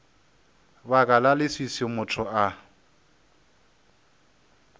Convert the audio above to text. baka la leswiswi motho a